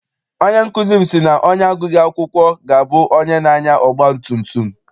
Onye nkụzi m si na onye agughị akwụkwọ ga abụ onye na-anya ọgba tum tum.